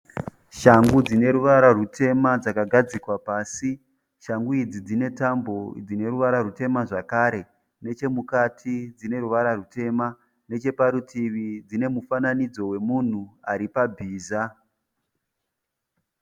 Shangu dzineruvara rutema dzakagadzikwa pasi. Shangu idzi dzinetambo ineruvara rutema zvakare. Nechemukati dzineruvara rutema, necheparutivi dzinemufananidzo wemhunu aripabhiza.